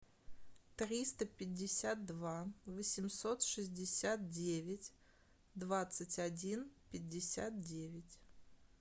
триста пятьдесят два восемьсот шестьдесят девять двадцать один пятьдесят девять